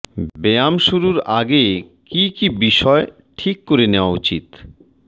ব্যায়াম শুরুর আগে কী কী বিষয় ঠিক করে নেওয়া উচিত